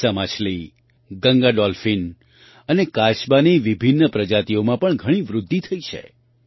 હિલ્સા માછલી ગંગા ડૉલ્ફિન અને કાચબાની વિભિન્ન પ્રજાતિઓમાં પણ ઘણી વૃદ્ધિ થઈ છે